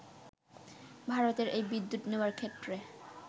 ভারতের এই বিদ্যুৎ নেওয়ার ক্ষেত্রে